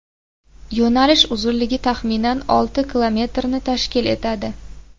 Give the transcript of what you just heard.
Yo‘nalish uzunligi taxminan olti kilometrni tashkil etadi”.